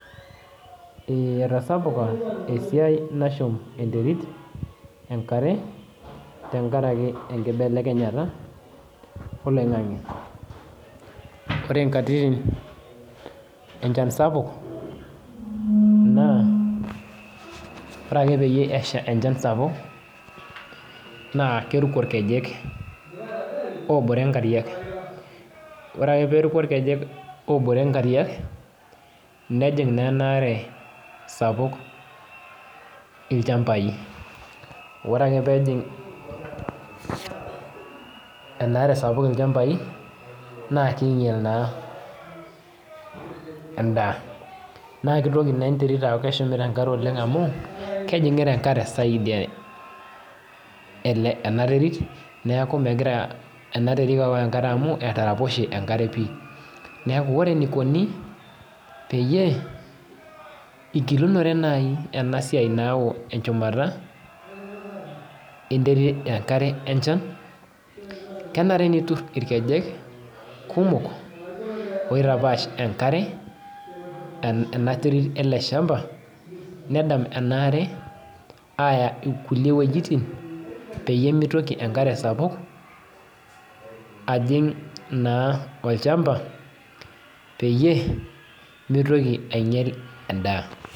Etasapuka esiai nashum enterit enkare, tenkaraki enkibelekenyata oloing'ang'e. Ore nkatitin enchan sapuk, naa, ore ake peyie esha enchan sapuk, na keruko irkej obore nkariak. Ore ake peruko irkej oruko nkariak, nejing' nenare sapuk ilchambai. Ore ake pejing' enaare sapuk ilchambai, naa kinyal naa endaa. Na kitoki ne enterit aku keshumita enkare oleng amu, kejing'ita enkare saidi ena terit, neeku megira enaterit aok enkare amu, etaraposhe enkare pi. Neeku ore enikoni, peyie igilunore nai enasiai naok enchumata enterit enkare enchan, kenare nitur irkejek kumok, oitapaash enkare, ena terit ele shamba, nedam enaare aya inkulie wojiting, peyie mitoki enkare sapuk, ajing' naa olchamba, peyie, mitoki ainyel endaa.